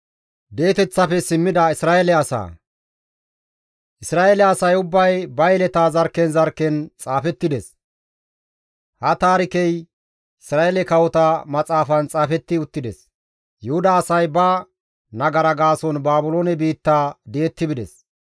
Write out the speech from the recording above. Isra7eele asay ubbay ba yeleta zarkken zarkken xaafettides; ha taarikey Isra7eele Kawota Maxaafan xaafetti uttides. Yuhuda asay ba nagara gaason Baabiloone biitta di7etti bides.